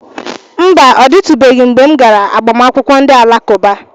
Mba, ọ dịtụbeghị mgbe m gara agbamakwụkwọ ndị Alakụba.